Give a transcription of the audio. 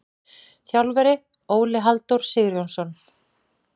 Þjálfari: Óli Halldór Sigurjónsson.